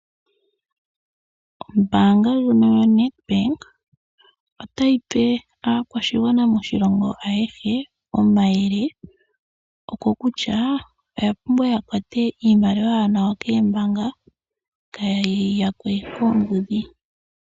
Ombaanga ndjono yoNetBank ota yi pe aakwashigwana moshilongo ayehe omayele. Okokutya, oya pumbwa ya kwate iimaliwa yawo nawa kombaanga kaye yi yakwe koombudhi.